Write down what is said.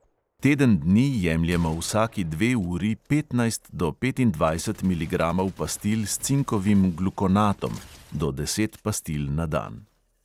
Teden dni jemljemo vsaki dve uri petnajst do petindvajset miligramov pastil s cinkovim glukonatom (do deset pastil na dan).